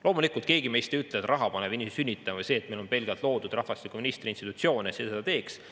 Loomulikult keegi meist ei ütle, et raha paneb sünnitama või et pelgalt see, kui meil oleks loodud rahvastikuministri institutsioon, seda teeks.